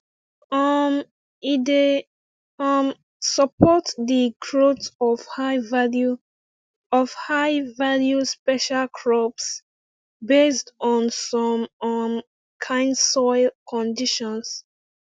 um e dey um support de growth of highvalue of highvalue special crops based on some um kind soil conditions